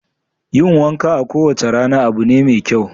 Yin wanka kowace rana da ruwa abu ne mai kyau.